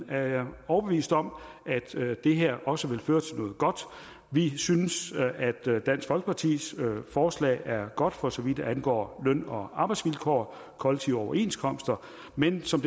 er jeg overbevist om at det her også vil føre til noget godt vi synes at dansk folkepartis forslag er godt for så vidt angår løn og arbejdsvilkår og kollektive overenskomster men som